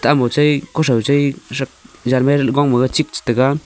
emo chai khu cha chai shak jan chik tai ga.